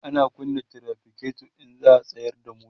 ana kunna trafiketo in za'a tsayar da mota